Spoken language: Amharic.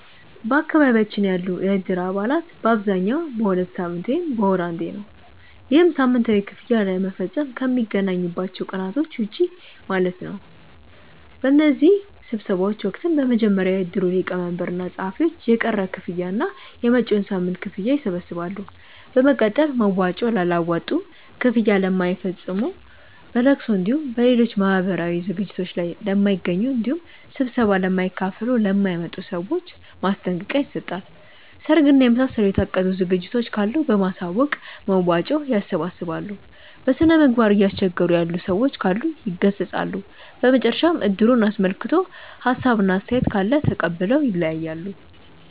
በአካባቢያችን ያሉ የእድር አባላት በአብዛኛው በሁለት ሳምንት ወይም በወር አንዴ ነው። ይህም ሳምንታዊ ክፍያ ለመፈፀም ከሚገናኙባቸው ቀናቶች ውጪ ማለት ነው። በእነዚህ ስብሰባዎች ወቅትም በመጀመሪያ የእድሩ ሊቀመንበር እና ፀሀፊዎች የቀረ ክፍያ እና የመጪዉን ሳምንት ክፍያ ይሰበስባሉ። በመቀጠል መዋጮ ላላዋጡ፣ ክፍያ ለማይፈፅሙ፣ በለቅሶ እንዲሁም በሌሎች ማህበራዊ ዝግጅቶት ላይ ለማይገኙ እንዲሁም ስብሰባ ለማይካፈሉ ( ለማይመጡ) ሰዎች ማስጠንቀቂያ ይሰጣል። ሰርግ እና የመሳሰሉ የታቀዱ ዝግጅቶች ካሉ በማሳወቅ መዋጮ ያሰባስባሉ። በስነምግባር እያስቸገሩ ያሉ ሰዎች ካሉ ይገሰፃሉ። በመጨረሻም እድሩን አስመልክቶ ሀሳብ እና አስተያየት ካለ ተቀብለው ይለያያሉ።